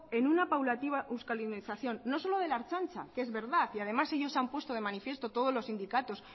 en una paulatina euskaldunización no solo de la ertzaintza que es verdad y además ellos han puesto de manifiesto todos los sindicatos